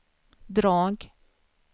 drag